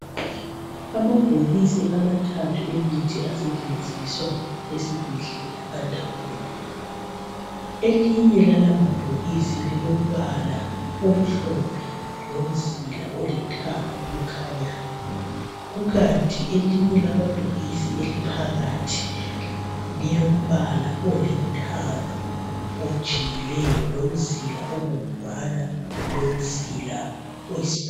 Amabhokisi amathathu emithi asetshenziswa esibhedlela andawonye. Elinye lala mabhokisi la lilombala omhlophe lomzila olithanga okhanyayo. Kukanti elinye lamabhokisi eliphakathi lilombala olithanga ojiyileyo lomzila obomvana lomzila oyisibhakabhaka.